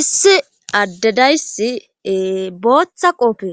Issi addedaysi booththa qoofe